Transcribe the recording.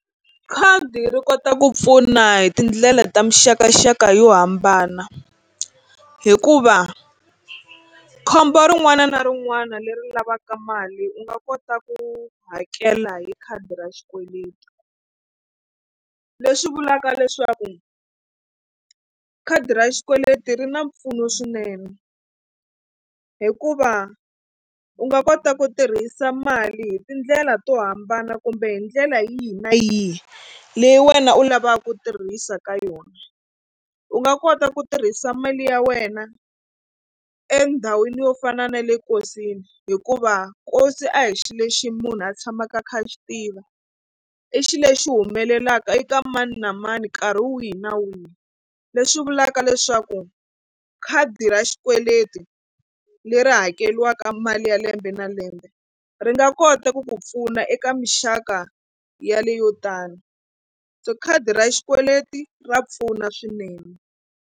Khadi ri kota ku pfuna hi tindlela ta muxakaxaka yo hambana hikuva khombo rin'wana na rin'wana leri lavaka mali u nga kota ku hakela hi khadi ra xikweleti. Leswi vulaka leswaku khadi ra xikweleti ri na mpfuno swinene hikuva u nga kota ku tirhisa mali hi tindlela to hambana kumbe hi ndlela yihi na yihi leyi wena u lavaka ku tirhisa ka yona. U nga kota ku tirhisa mali ya wena endhawini yo fana na le nkosini hikuva nkosi a hi xilo lexi munhu a tshamaka a kha a xi tiva i xilo lexi humelelaka eka mani na mani nkarhi wihi na wihi leswi vulaka leswaku khadi ra xikweleti leri hakeriwaka mali ya lembe na lembe ri nga kota ku ku pfuna eka mixaka yaleyo tano so khadi ra xikweleti ra pfuna swinene.